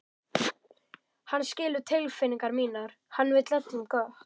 Hann skilur tilfinningar mínar, hann vill öllum gott.